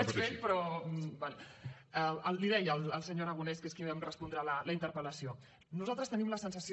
li deia al senyor aragonès que és qui em respondrà la interpel·lació nosaltres tenim la sensació